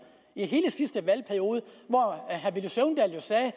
i hele sidste valgperiode hvor herre at